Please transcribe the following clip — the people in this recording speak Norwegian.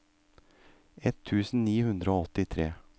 ett tusen ni hundre og åttitre